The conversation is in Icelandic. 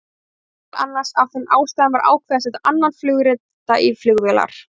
Meðal annars af þeim ástæðum var ákveðið að setja annan flugrita í flugvélar.